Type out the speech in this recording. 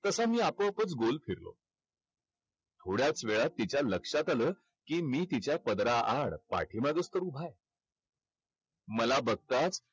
तसा मी आपोआपच गोल फिरलो. थोड्याच वेळात तिच्या लक्षात आलं की मी तिच्या पदराआड पाठीमागंच तर उभा आहे. मला बघताच